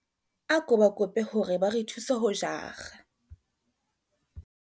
Ako ba kope hore ba re thuse ho jara.